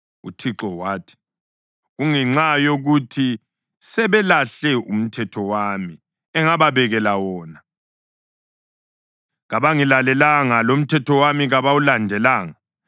UThixo wathi, “Kungenxa yokuthi sebelahle umthetho wami engababekela wona; kabangilalelanga, lomthetho wami kabawulandelanga.